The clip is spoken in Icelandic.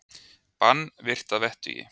Bann virt að vettugi